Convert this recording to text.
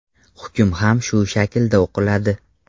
Hukm ham shu shaklda o‘qiladi.